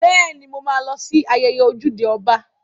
Bẹ́ẹ̀ni, mo ma lọ sí ayẹyẹ ojúde ọba